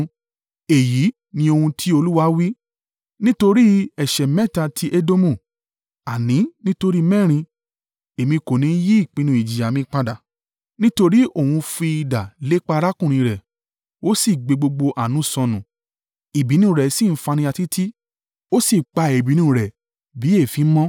Èyí ni ohun tí Olúwa wí: “Nítorí ẹ̀ṣẹ̀ mẹ́ta tí Edomu, àní nítorí mẹ́rin, Èmi kò ní yí ìpinnu ìjìyà mi padà. Nítorí òhun fi idà lépa arákùnrin rẹ̀, Ó sì gbé gbogbo àánú sọnù, ìbínú rẹ̀ sì ń faniya títí, ó sì pa ìbínú rẹ̀ bí èéfín mọ́,